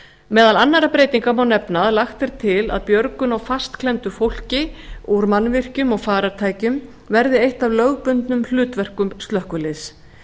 meðal annarra breytinga má nefna að lagt er til að björgun að á fastklemmdu fólki úr mannvirkjum og farartækjum verði eitt af lögbundnum hlutverkum slökkviliðs